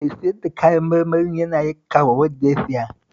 Mai sayar da kayan marmarin yana yankawa wanda ya siya